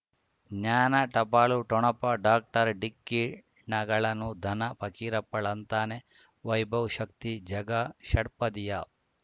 ಜ್ಞಾನ ಟಪಾಲು ಠೊಣಪ ಡಾಕ್ಟರ್ ಢಿಕ್ಕಿ ಣಗಳನು ಧನ ಫಕೀರಪ್ಪ ಳಂತಾನೆ ವೈಭವ್ ಶಕ್ತಿ ಝಗಾ ಷಟ್ಪದಿಯ